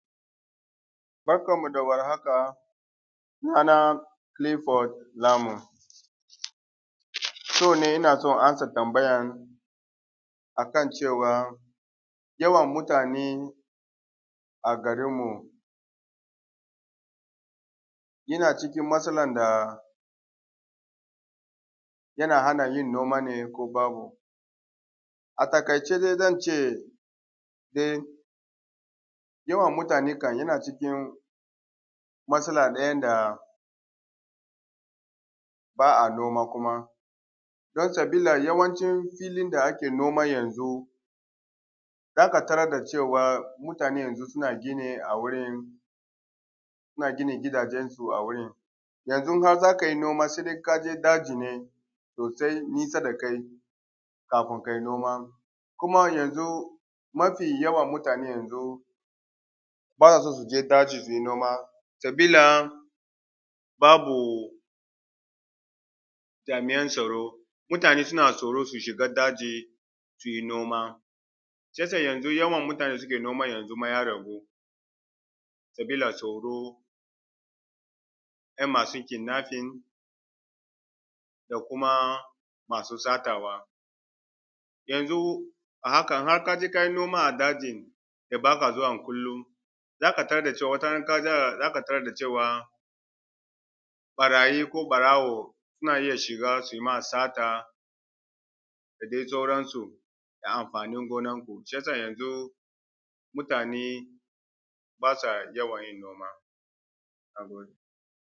Bakanmu da wahaka sunan Kilifod Lamu yau ne ina so in ansa tambayan akan cewa yawan mutane a gainmu, yana cikin matsala da yana hana yin noma ne ko babu. A taƙaice zance yawan mutane ne yana matsala ɗaya da ba a noma kuma sabila yawan cin filin da ake noma yanzu za ka tarar da cewa mutane yanzu suna gini a wurin, suna gina gidajensu yanzu ha in za kai noma se ka je daji sosai nisa da kai kafun kai noma. Ni kuma yanzu mafi yawan mutane yanzu ba su je daji su yi noma sabila babu jami’an tsaro, mutane suna tsoro su shiga daji su yi noma shi ya sa yanzu yawan mutane da suke noma ya agu sabila tsoro yana masu kidnafin da kuma masu satawa. Yanzu a hakan ya ka je kai noma a dajin da ba ka zuwa kullum za ka tarar da cewa watarana za ka tarar da cewa ɓarayi ko ɓarawo suna iya shiga su yi ma sata da dai sauransu, na amfanin gonanku shi ya sa yanzu mutane b asa yawan yin noma. Na gode.